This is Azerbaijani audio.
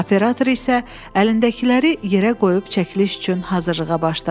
Operator isə əlindəkiləri yerə qoyub çəkiliş üçün hazırlığa başladı.